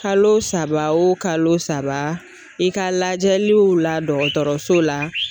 Kalo saba o kalo saba, i ka lajɛliw la dɔgɔtɔrɔso la.